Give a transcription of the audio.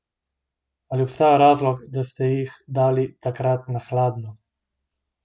Ali obstaja razlog, da ste jih dali takrat na hladno?